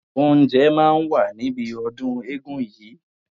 Oúnjẹ máa wà níbi ọdún eégún yìí.